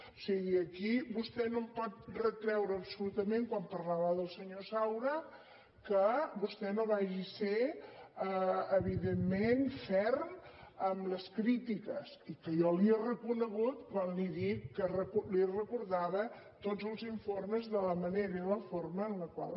o sigui aquí vostè no em pot retreure absolutament quan parlava del senyor saura que vostè no vagi ser evidentment ferm amb les crítiques i jo li ho he reconegut quan li he dit li recordava tots els informes de la manera i la forma en les quals